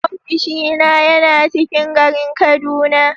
Ofishina yana ciƙin garin kaduna.